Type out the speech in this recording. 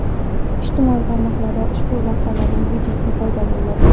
Ijtimoiy tarmoqlarda ushbu lahzalarning videosi paydo bo‘ldi.